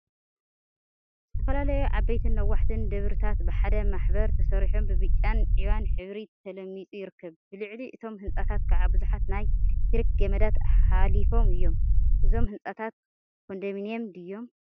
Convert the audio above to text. ዝተፈላለዩ ዓበይትን ነዋሕትን ደብሪታት ብሓደ ማሕበር ተሰሪሖም ብብጫን ዒባን ሕብሪ ተለሚፁ ይርከብ፡፡ ብልዕሊ እቶም ህንፃታት ከዓ ቡዙሓት ናይ ኤሌክትሪክ ገመዳት ሓሊፎም እዮም፡፡ እዞም ህንፃታት ኮንደምኒየም ድዮም?